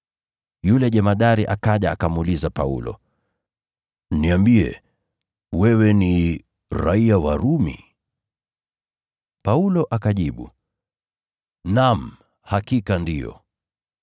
Yule jemadari akaja akamuuliza Paulo, “Niambie, wewe ni raiya wa Rumi?” Paulo akajibu, “Naam, hakika ndiyo.”